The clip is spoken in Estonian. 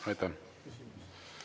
Aitäh!